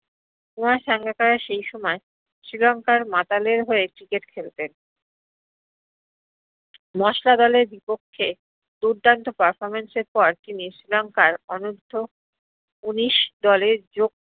কুমার সাঙ্গাকারা সেই সময় শ্রীলংকার মাতালের হয়ে cricket খেল্তেন মশলাদলের বিপক্ষে দুর্দন্ত performance এর পর তিনি শ্রীলংকার অনুদ্ধ উনিশ দ্লের জোগ